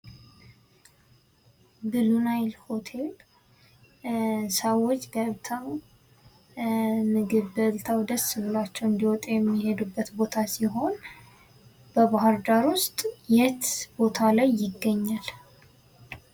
ብሉ ናይል ሆቴል ሰዎች ገብተው ምግብ በልተው ደስ ብሏቸው እንዲወጡበት የሚሄዱበት ቦታ ሲሆን በባህርዳር ውስጥ ዬት ቦታ ላይ ይገኛል?